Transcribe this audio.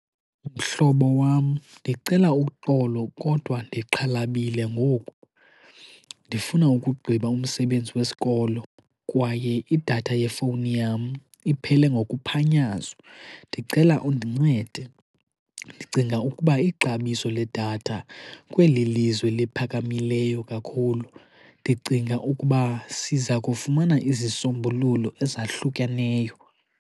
Mhlobo wam, ndicela uxolo kodwa ndixhalabile ngoku. Ndifuna ukugqiba umsebenzi wesikolo kwaye idatha yefowuni yam iphele ngokuphanyazo. Ndicela undincede, ndicinga ukuba ixabiso ledatha kweli lizwe liphakamileyo kakhulu, ndicinga ukuba siza kufumana izisombululo ezahlukaneyo.